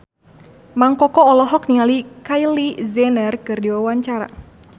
Mang Koko olohok ningali Kylie Jenner keur diwawancara